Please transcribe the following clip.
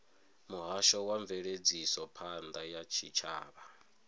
muhasho wa mveledzisophan ḓa ya tshitshavha